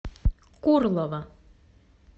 курлово